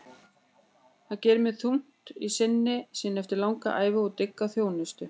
Það gerir mér þungt í sinni eftir langa ævi og dygga þjónustu.